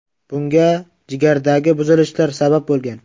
Bunga jigardagi buzilishlar sabab bo‘lgan.